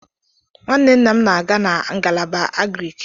Nwanne nna m na-aga na ngalaba Agriiki.